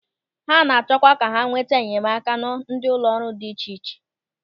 Ha na-achọkwa ka ha nweta enyemaka na ndị ụlọ ọrụ dị iche iche.